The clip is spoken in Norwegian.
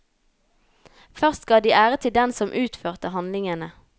Først ga de ære til den som utførte handlingene.